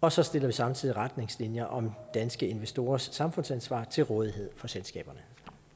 og så stiller vi samtidig retningslinjer om danske investorers samfundsansvar til rådighed for selskaberne